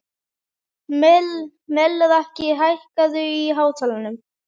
Melrakki, hækkaðu í hátalaranum.